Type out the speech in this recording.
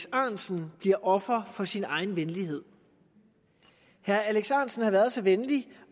ahrendtsen bliver offer for sin egen venlighed herre alex ahrendtsen har været så venlig